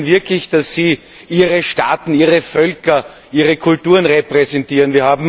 Glauben Sie wirklich, dass Sie Ihre Staaten, Ihre Völker oder Ihre Kulturen repräsentieren?